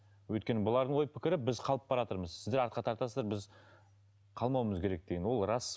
өйткені бұлардың ой пікірі біз қалып баратырмыз сіздер артқа тартасыздар біз қалмауымыз керек деген ол рас